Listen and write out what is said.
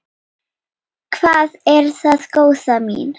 Hvað er það, góða mín?